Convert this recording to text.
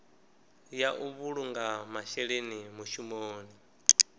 ya u vhulunga masheleni mushumoni